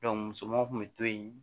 musomanw kun bɛ to yen